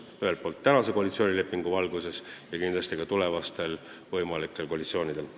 Seda ühelt poolt praegu kehtiva koalitsioonilepingu valguses, aga kindlasti tuleks seda teha ka tulevastel võimalikel koalitsioonidel.